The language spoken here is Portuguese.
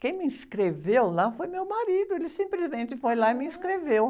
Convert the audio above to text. Quem me inscreveu lá foi meu marido, ele simplesmente foi lá e me inscreveu.